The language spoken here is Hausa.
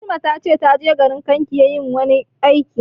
Fatima ta ce ta je garin Kankia yin wani aiki